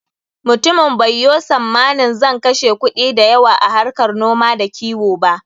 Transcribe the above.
Mutumin bai yo sammanin zan kashe kuɗi da yawa a harkar noma da kiwo ba.